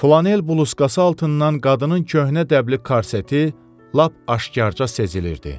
Flanel bluzkası altından qadının köhnə dəbli karseti lap aşkarca sezilirdi.